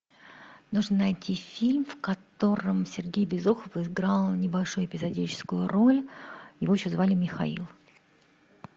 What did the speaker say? нужно найти фильм в котором сергей безруков играл небольшую эпизодическую роль его еще звали михаил